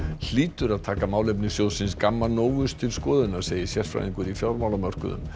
hlýtur að taka málefni sjóðsins Gamma Novus til skoðunar segir sérfræðingur í fjármálamörkuðum